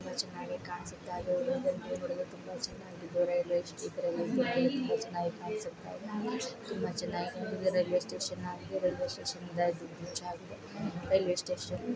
ತುಂಬಾ ಚೆನ್ನಾಗೆ ಕಾಣ್ಸುತ್ತಾ ಇದು ನೀವು ನೋಡಲು ತುಂಬಾ ಚೆನ್ನಾಗಿ ದೊರೆಯಲು ಇದು ಇರೋ ತುಂಬಾ ಚೆನ್ನಾಗಿದೆ ರೈಲ್ವೆ ಸ್ಟೇಷನ್ ಹಾಗು ರೈಲ್ವೆ ಸ್ಟೇಷನ್ ಮುಚ್ಚಲಾಗಿದೆ ರೈಲ್ವೆ ಸ್ಟೇಷನ್ .